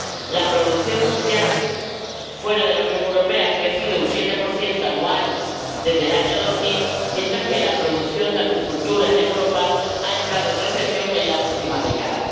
La producción mundial fuera de la Unión Europea ha crecido un 7 anual desde el año 2000, mientras que la producción de acuicultura en Europa ha entrado en recesión en la última década.